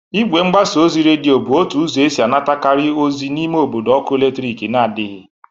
Igwe mgbasa ozi redio bụ otu ụzọ esi anatakarị ozi n'ime obodo ọkụ eletriki nadịghị.